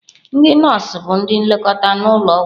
Ndị nọọsụ bụ ndị nlekọta n'ụlọ ọgwụ.